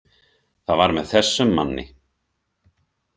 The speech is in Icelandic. Það var með þessum manni.